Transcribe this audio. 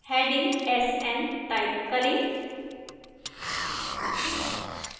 heading sn type करें